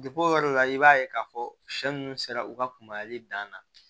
o yɔrɔ la i b'a ye k'a fɔ sɛ ninnu sera u ka kunbayali dan na